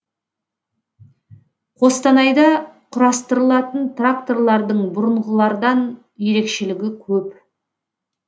қостанайда құрастырылатын тракторлардың бұрынғылардан ерекшелігі көп